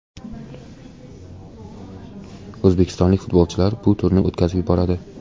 O‘zbekistonlik futbolchilar bu turni o‘tkazib yuboradi.